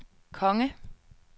konge